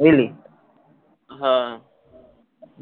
বুঝলি